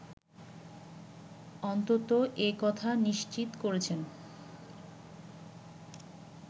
অনন্ত এ কথা নিশ্চিত করেছেন